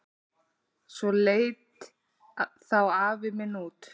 Svona leit þá afi minn út.